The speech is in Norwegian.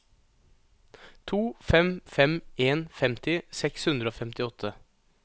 to fem fem en femti seks hundre og femtiåtte